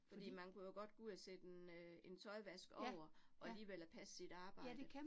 Fordi man kunne jo godt gå ud og sætte en øh en tøjvask over, og alligevel at passe sit arbejde